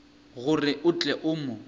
gore o tle o mo